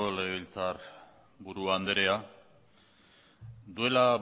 legebiltzarburu andrea duela